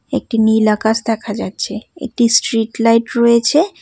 একটি নীল আকাশ দেখা যাচ্ছে একটি স্ট্রীট লাইট রয়েছে।